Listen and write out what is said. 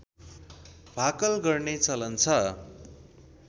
भाकल गर्ने चलन छ